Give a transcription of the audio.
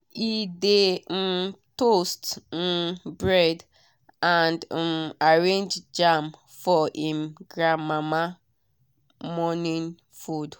e dey um toast um bread and um arrange jam for him grandmama morning food.